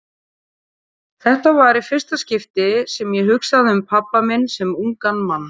Þetta var í fyrsta skipti sem ég hugsaði um pabba minn sem ungan mann.